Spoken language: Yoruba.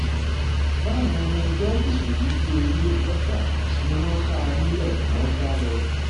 báwọn ọmọ ẹgbẹ́ òkùnkùn yìí ṣe rí ọlọ́pàá ni wọ́n kà á nílé wọn ń sá lọ